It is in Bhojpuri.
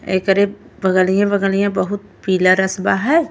एकरे बगलिया बगलिया बहुत पीला रसवा हय।